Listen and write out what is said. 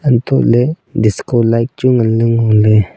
hantoh ley disco light chu ngan ley ngo ley.